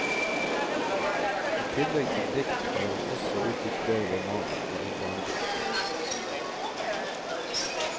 I tillegg til dikt, har han også utgitt flere romaner og en barnebok.